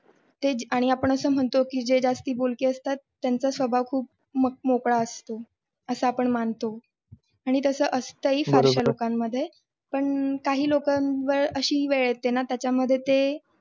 ते जे आणि आपण असे म्हणतो जे जास्त बोलके असतात त्यांच्या स्वभाव खूप असा मोकळा असतो, असं आपण मानतो. आणि तसं असतं ही फारशा लोकांमध्ये पण काही लोकांवर अशी वेळ येते ना त्याच्यामध्ये ते